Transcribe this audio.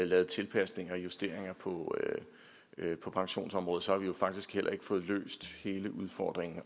lavet tilpasninger og justeringer på på pensionsområdet har vi jo faktisk heller ikke fået løst hele udfordringen